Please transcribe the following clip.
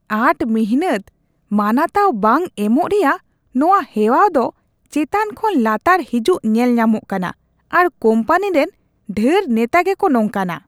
ᱟᱸᱴ ᱢᱤᱱᱦᱟᱹᱛ ᱢᱟᱱᱟᱛᱟᱣ ᱵᱟᱝ ᱮᱢᱚᱜ ᱨᱮᱭᱟᱜ ᱱᱚᱶᱟ ᱦᱮᱣᱟᱣ ᱫᱚ ᱪᱮᱛᱟᱱ ᱠᱷᱚᱱ ᱞᱟᱛᱟᱨ ᱦᱤᱡᱩᱜ ᱧᱮᱞ ᱧᱟᱢᱚᱜ ᱠᱟᱱᱟ ᱟᱨ ᱠᱳᱢᱯᱟᱱᱤ ᱨᱮᱱ ᱰᱷᱮᱨ ᱱᱮᱛᱟ ᱜᱮᱠᱚ ᱱᱚᱝᱠᱟᱱᱟ ᱾